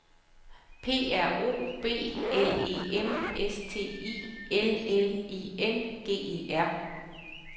P R O B L E M S T I L L I N G E R